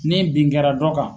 Ni bin kɛra dɔ kan.